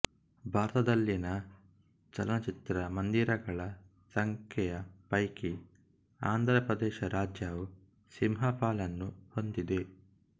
ಭಾರತದಲ್ಲಿನ ಚಲನಚಿತ್ರ ಮಂದಿರಗಳ ಸಂಖ್ಯೆಯ ಪೈಕಿ ಆಂಧ್ರಪ್ರದೇಶ ರಾಜ್ಯವು ಸಿಂಹಪಾಲನ್ನು ಹೊಂದಿದೆ